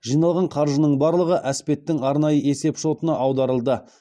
жиналған қаржының барлығы әспеттің арнайы есеп шотына аударылды